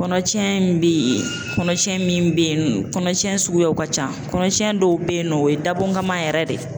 Kɔnɔcɛn min bɛ ye kɔnɔcɛn min bɛ ye kɔnɔcɛn suguyaw ka ca kɔnɔcɛn dɔw bɛ ye nɔ o ye dabɔngaman yɛrɛ de ye.